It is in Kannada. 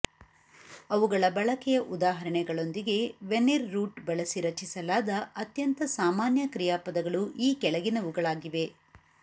ಅವುಗಳ ಬಳಕೆಯ ಉದಾಹರಣೆಗಳೊಂದಿಗೆ ವೆನಿರ್ ರೂಟ್ ಬಳಸಿ ರಚಿಸಲಾದ ಅತ್ಯಂತ ಸಾಮಾನ್ಯ ಕ್ರಿಯಾಪದಗಳು ಈ ಕೆಳಗಿನವುಗಳಾಗಿವೆ